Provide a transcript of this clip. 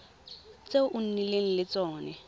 tse o nnileng le tsone